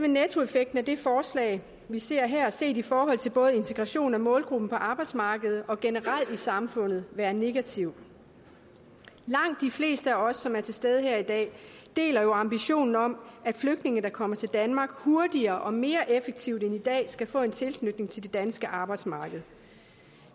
nettoeffekten af det forslag vi ser her set i forhold til både integration af målgruppen på arbejdsmarkedet og generelt i samfundet være negativ langt de fleste af os som er til stede her i dag deler jo ambitionen om at flygtninge der kommer til danmark hurtigere og mere effektivt end i dag skal få en tilknytning til det danske arbejdsmarked